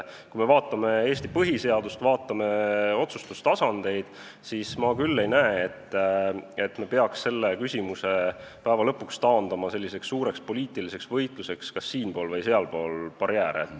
Kui me vaatame Eesti põhiseadust ja otsustustasandeid, siis ma küll ei näe, et me peaks selle küsimuse taandama lõpuks suureks poliitiliseks võitluseks siin- või sealpool barjääre.